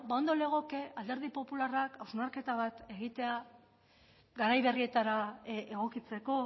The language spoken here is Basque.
bueno ondo legoke alderdi popularrak hausnarketa bat egitea garai berrietara egokitzeko